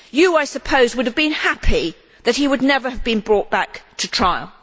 You, I suppose, would have been happy that he would never have been brought back to trial.